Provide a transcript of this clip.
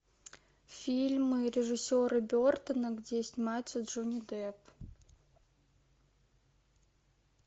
фильмы режиссера бертона где снимается джонни депп